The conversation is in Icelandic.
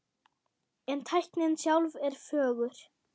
En tæknin sjálf er fögur.